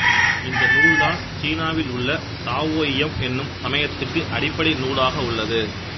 இந்த நூல்தான் சீனாவில் உள்ள தாவோயியம் என்னும் சமயத்துக்கு அடிப்படை நூலாக உள்ளது